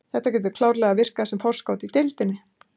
Þetta getur klárlega virkað sem forskot í deildinni.